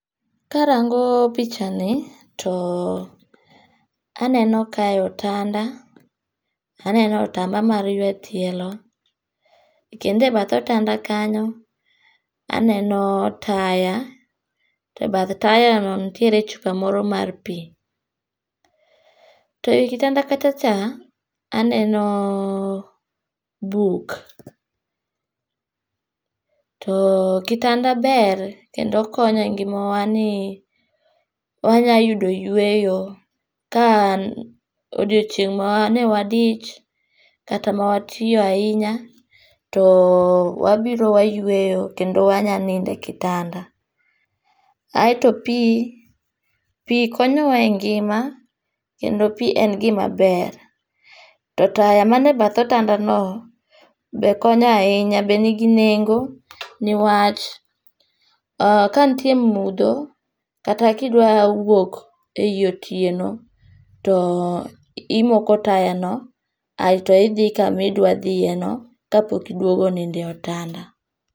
karango picha ni to aneno kae otanda ,aneno otamba mar yue tielo kendo ebath otanda kanyo aneno taya tebath taya no nitiere chupa moro mar pii. To ewi kitanda kacha cha aneno buk. To kitanda ber kendo konyo e ngimawa ni wanya yudo yueyo ka odiochieng' mane wadich kata ma watiyo ahinya to wabiro wayueyo kendo wanya ninde kitanda. Aeto pii pii konyowa e ngima kendo pii en gima ber. To taya man e bath otanda no be konyo ahinya , be nigi nengo niwach kantie mudho kata kidwa wuok ei otieno to imoko taya aeto idhi kami dwa dhiye no kapok iduogo ninde otanda.